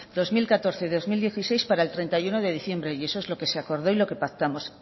dos mil catorce dos mil dieciséis para el treinta y uno de diciembre y eso es lo que se acordó y lo que pactamos